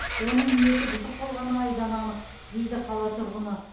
оның ниеті бұзық болғаны айдан анық дейді қала тұрғыны